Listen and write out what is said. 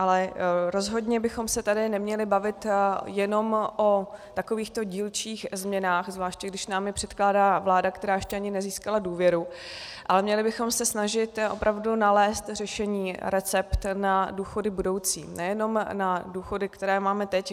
Ale rozhodně bychom se tady neměli bavit jenom o takovýchto dílčích změnách, zvláště když nám je předkládá vláda, která ještě ani nezískala důvěru, ale měli bychom se snažit opravdu nalézt řešení, recept na důchody budoucí, nejenom na důchody, které máme teď.